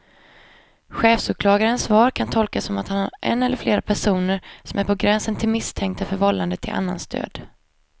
Chefsåklagarens svar kan tolkas som att han har en eller flera personer som är på gränsen till misstänkta för vållande till annans död.